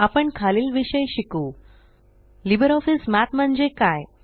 आपण खालील विषय शिकू लिब्रिऑफिस मठ म्हणजे काय